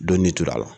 Dɔnni tora a la